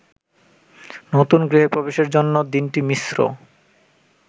নতুন গৃহে প্রবেশের জন্য দিনটি মিশ্র।